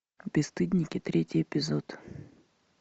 бесстыдники третий эпизод